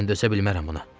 Mən dözə bilmərəm buna.